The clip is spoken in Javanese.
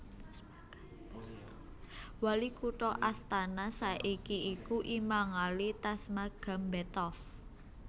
Wali kutha Astana saiki iku Imangali Tasmagambetov